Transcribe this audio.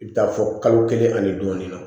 I bɛ taa fɔ kalo kelen ani dɔɔnin na